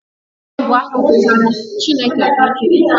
Chibuikem bụ aha pụtara 'Chineke bụ ike m'